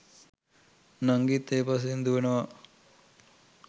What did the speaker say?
නංගිත් ඒ පස්සෙන් දූවනවා.